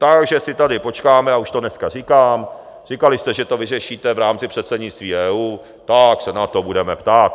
Takže si tady počkáme, a už to dneska říkám - říkali jste, že to vyřešíte v rámci předsednictví EU, tak se na to budeme ptát.